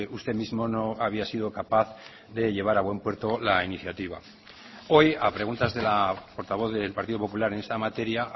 usted mismo no había sido capaz de llevar a buen puerto la iniciativa hoy a preguntas de la portavoz del partido popular en esta materia